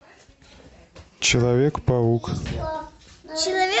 человек паук